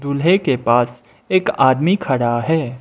दूल्हे के पास एक आदमी खड़ा है।